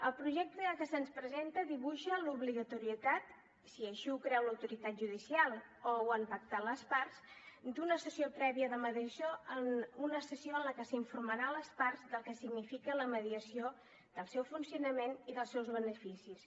el projecte que se’ns presenta dibuixa l’obligatorietat si així ho creu l’autoritat judicial o ho han pactat les parts d’una sessió prèvia de mediació una sessió en la qual s’informarà les parts del que significa la mediació del seu funcionament i dels seus beneficis